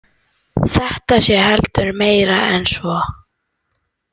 Þetta sé heldur meira en svo